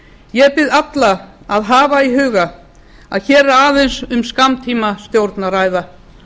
ég bið alla að hafa í huga að hér er aðeins um skammtímastjórn að ræða